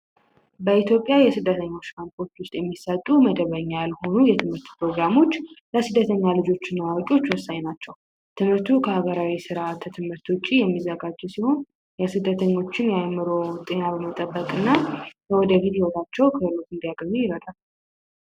በኢትዮጵያ የስደተኞች ካምፖች ውስጥ የሚሰጡ መደበኛ ያልሆኑ የትምህርት ፕሮግራሞች ለስደተኛ ልጆች እና ለአዋቂዎች ወሳኝ ናቸው። ትምህርቱ ከማህበራዊ የትምህርት ስርዓት ውጪ የሚዘጋጁ ሲሆን የስደተኞችን የአእምሮ ጤና በመጠበቅ እና የወደፊት ህይወታቸው ክህሎት እንዲያገኙ ይረዳናል።